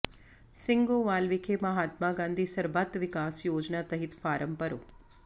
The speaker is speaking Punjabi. ਸਿੰਘੋਵਾਲ ਵਿਖੇ ਮਹਾਤਮਾ ਗਾਂਧੀ ਸਰਬੱਤ ਵਿਕਾਸ ਯੋਜਨਾ ਤਹਿਤ ਫਾਰਮ ਭਰੇ